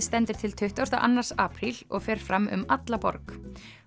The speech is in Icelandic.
stendur til tuttugasta og annan apríl og fer fram um alla borg